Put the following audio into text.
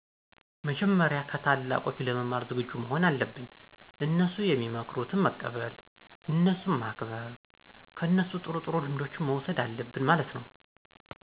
መጀመሪያ ከታላቆች ለመማር ዝግጁ መሆን አለብን፤ እነሡ ሚመክሩትን መቀበል፣ እነሡን ማክበር፣ ከነሡ ጥሩ ጥሩ ልምዶችን መውሠድ አለብን ማለት ነው።